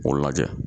K'o lajɛ